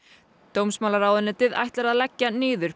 dómsmálaráðuneytið ætlar að leggja niður